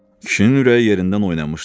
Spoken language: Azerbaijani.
Kişinin ürəyi yerindən oynamışdı.